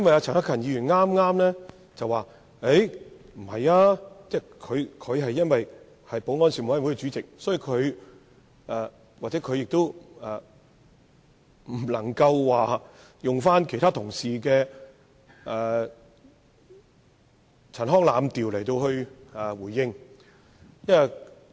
陳克勤議員剛才表示不認同議案，但由於他是保安事務委員會主席，所以不能引用其他同事的陳腔濫調作出回應。